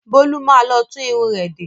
Bólú má lọ tún irun rẹ̀ de.